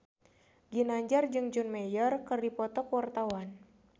Ginanjar jeung John Mayer keur dipoto ku wartawan